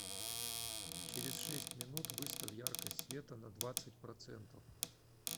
через шесть минут выставь яркость света на двадцать процентов